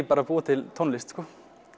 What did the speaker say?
bara að búa til tónlist sko